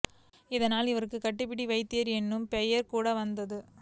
இதனால் அவருக்கு கட்டிபிடி வைத்தியர் என்னும் பெயர் கூட வந்தது